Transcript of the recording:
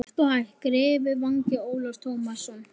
Hægt og hægt greri vangi Ólafs Tómassonar.